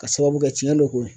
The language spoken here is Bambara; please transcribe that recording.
K'a sababu kɛ cɛn